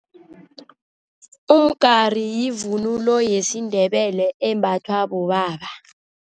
Umgari yivunulo yesiNdebele embathwa bobaba.